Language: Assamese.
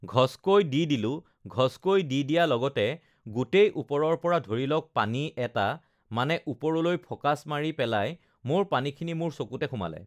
ঘচকৈ দি দিলোঁ ঘচকৈ দি দিয়া লগতে গোটেই ওপৰৰ পৰা ধৰি লওক পানী এটা uhh মানে ওপৰলৈ ফ'কাছ মাৰি পেলাই মোৰ পানীখিনি মোৰ চকুতে সোমালে